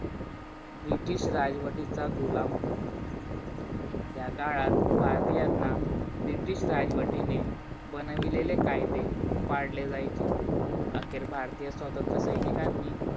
British राजवाटीचा गुलाम होता. त्याकाळात भारतीयांना ब्रिटीश राजवटीने बनविलेले कायदे पडले जायचे. अखेर भारतीय स्वतंत्र सैनिकांनी